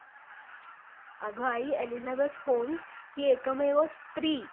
याच विषयी सर्व ब्राम्हण म्हणजे विद्वान व अविद्वान असे इंग्रज वैगेरे लोक, अधम अधम दुराचारी मनुसंहितेनं,